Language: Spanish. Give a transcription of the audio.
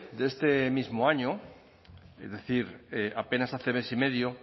de este mismo año es decir apenas hace mes y medio